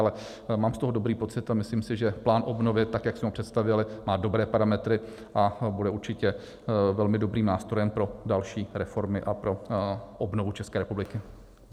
Ale mám z toho dobrý pocit a myslím si, že plán obnovy, tak jak jsme ho představili, má dobré parametry a bude určitě velmi dobrým nástrojem pro další reformy a pro obnovu České republiky.